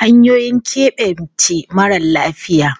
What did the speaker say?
Hanyoyin keɓence mara lafiya